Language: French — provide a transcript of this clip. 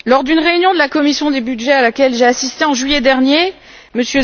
Lors d'une réunion de la commission des budgets, à laquelle j'ai assisté en juillet dernier, M.